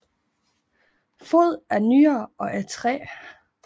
Foden er nyere og af træ